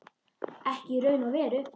Ekki í raun og veru.